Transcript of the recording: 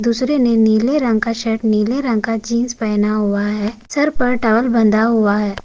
दूसरे ने नीले रंग का शर्ट नीले रंग का जीन्स पहना हुआ है सर पर टॉवेल बंधा हुआ है।